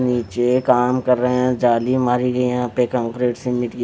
नीचे काम कर रहे हैं जाली मारी गई है यहां पे कंक्रीट सिरमिट की--